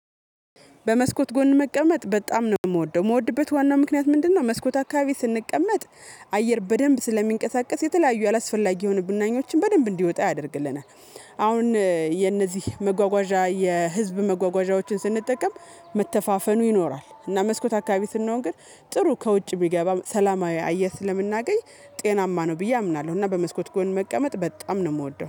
በመስኮት ጎን መቀመጥ በጣም ነው የምወደው የምወድበት ዋናው ምክንያት ምንድነው? መስኮት አካባቢ ስንቀመጥ አየር በደንብ ስለሚንቀሳቀስ የተለያዩ አላስፈላጊ የሆኑ ብናኞችን በደንብ እንዲወጣ ያደርግልናል። አሁን የነዚህ መጓጓዣ የህዝብ መጓጓዣዎችን ስንጠቀም መተፋፈኑ ይኖራል እና መስኮት አካባቢ ስንሆን ግን ጥሩ ከውጭ የሚገባ ሰላማዊ አየር ስለምናገኝ ጤናማ ነው ብዬ አምናለሁ። እና በመስኮት ጎን መቀመጥ በጣም ነው የምወደው